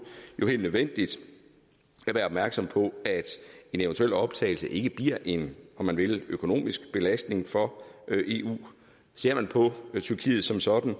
helt nødvendigt at være opmærksom på at en eventuel optagelse ikke bliver en om man vil økonomisk belastning for eu ser man på tyrkiet som sådan